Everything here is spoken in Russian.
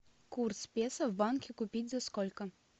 курс песо в банке купить за сколько